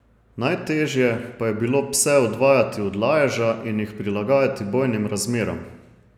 Najtežje pa je bilo pse odvajati od laježa in jih prilagajati bojnim razmeram.